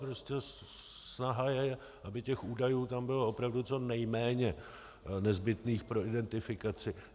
Prostě snaha je, aby těch údajů tam bylo opravdu co nejméně nezbytných pro identifikaci.